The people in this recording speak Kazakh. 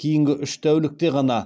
кейінгі үш тәулікте ғана